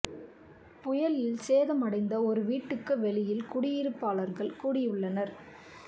புயலில் சேதம் அடைந்த ஒரு வீட்டுக்கு வெளியில் குடியிருப்பாளர்கள் கூடியுள்ளனர்